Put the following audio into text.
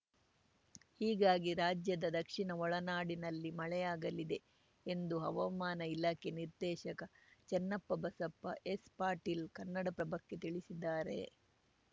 ಹೀಗಾಗಿ ರಾಜ್ಯದ ದಕ್ಷಿಣ ಒಳನಾಡಿನಲ್ಲಿ ಮಳೆಯಾಗಲಿದೆ ಎಂದು ಹವಾಮಾನ ಇಲಾಖೆ ನಿರ್ದೇಶಕ ಚನ್ನಪ್ಪಬಸಪ್ಪ ಎಸ್‌ ಪಾಟೀಲ್‌ ಕನ್ನಡಪ್ರಭಕ್ಕೆ ತಿಳಿಸಿದ್ದಾರೆ